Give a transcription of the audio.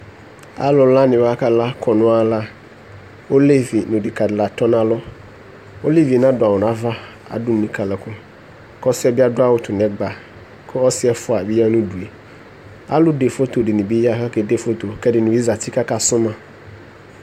alo la ni wa ka la kɔno ala olevi no odeka di la tɔ no alɔ olevie na do awu no ava ado nika lako ko ɔsiɛ bi ado awu to no ɛgba ko ɔse ɛfoa bi ya no udue alo de foto di ni bi ya ko ake de foto ko ɛdini bi zati ko aka so ma